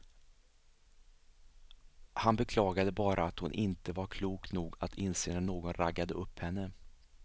Han beklagade bara att hon inte var klok nog att inse när någon raggade upp henne.